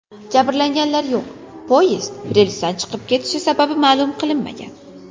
Jabrlanganlar yo‘q, poyezd relsdan chiqib ketishi sababi ma’lum qilinmagan.